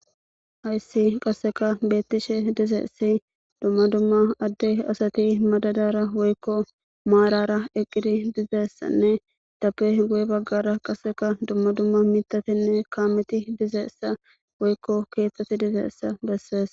Hayssi qasseka beettishe dizeessi dumma dumma addey asati madadara woykko maalara eqqiri dizeessanne tappe hguye baggara qasseka dumma dumma mitatenne kaameti dizeessa woykko keeththeti dizeessa bessees